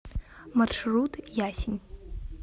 маршрут ясень